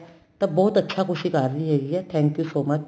ਤਾਂ ਬਹੁਤ ਅੱਛਾ ਕੁੱਝ ਈ ਕਰ ਰਹੀ ਹੈਗੀ ਏ thank you so much